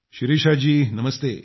Shirisha ji Namaste